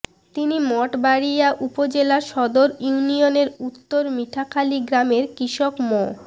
তিনি মঠবাড়িয়া উপজেলা সদর ইউনিয়নের উত্তর মিঠাখালী গ্রামের কৃষক মো